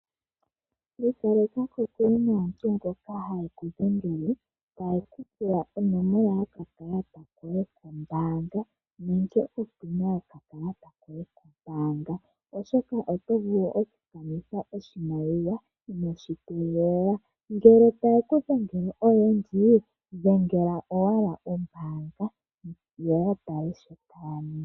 Ikaleka kokule naantu mboka haye ku dhengele taye ku pula onomola yokakalata koye kombaanga nenge opina yokakalata koye kombaanga oshoka oto vulu oku kanitha oshimaliwa ino shi tegelela . Ngele taye ku dhengele oyendji, dhengela owala ombaanga yo ya tale shoka taya ningi .